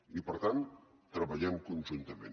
i per tant treballem conjuntament